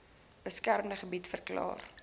beskermde gebied verklaar